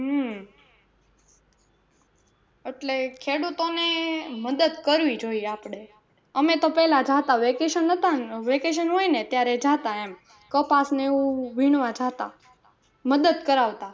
હમ એટલે ખેડૂતો ને મદદ કરવી જોઈએ આપડે અમે તો પેલા જતા vacation હતા ને vacation હોય ને ત્યારે જાતા એમ કપાસ નું વીણવા જાતા મદદ કરાવતા.